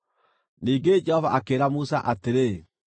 Ningĩ Jehova akĩĩra Musa atĩrĩ,